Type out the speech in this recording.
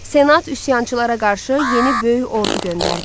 Senat üsyançılara qarşı yeni böyük ordu göndərdi.